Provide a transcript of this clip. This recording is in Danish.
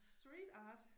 Street art?